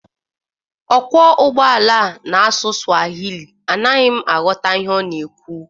Ọkwọ ụgbọala a na-asụ Swahili, anaghi m aghọta m ihe ọ na-ekwu